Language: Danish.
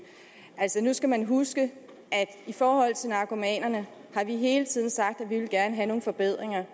altså nu skal man huske at i forhold til narkomanerne har vi hele tiden sagt at vi gerne vil have nogle forbedringer